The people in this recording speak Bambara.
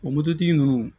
O mototigi nunnu